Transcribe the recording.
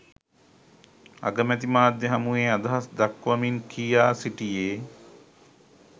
අගමැති මාධ්‍ය හමුවේ අදහස් දක්වමින් කියා සිටියේ